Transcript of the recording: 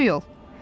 Yaxşı yol!